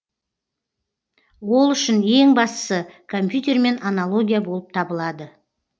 ол үшін ең бастысы компьютермен аналогия болып табылады